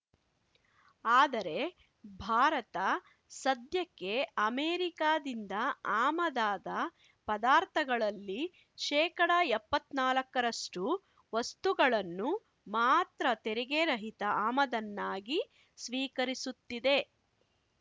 ಆದರೆ ಭಾರತ ಸದ್ಯಕ್ಕೆ ಅಮೆರಿಕಾದಿಂದ ಆಮದಾದ ಪದಾರ್ಥಗಳಲ್ಲಿ ಶೇಕಡ ಎಪ್ಪತ್ತ್ ನಾಲಕ್ಕರಷ್ಟು ವಸ್ತುಗಳನ್ನು ಮಾತ್ರ ತೆರಿಗೆ ರಹಿತ ಆಮದನ್ನಾಗಿ ಸ್ವೀಕರಿಸುತ್ತಿದೆ